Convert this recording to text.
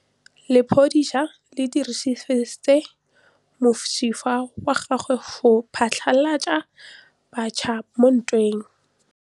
Lepodisa le dirisitse mosifa wa gagwe go phatlalatsa batšha mo ntweng.